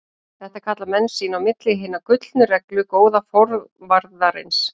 Þetta kalla menn sín á milli Hina gullnu reglu góða forvarðarins.